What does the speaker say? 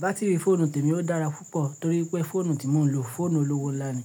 Bá́tìrì fóònù témi ó dára púpọ̀ torí pé fóònù tí mò ń lò fónù olówó ńlá ni.